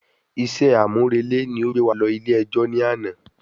Isé àmúrẹlẹ́ ni o gbé wa lọ ilé ẹjọ́ ni àná